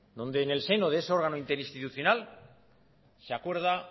donde en el seno de ese órgano interinstitucional se acuerda